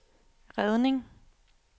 redning